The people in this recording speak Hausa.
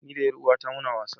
Ni da yaruwata muna wasa.